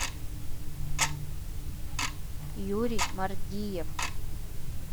юрий мардиев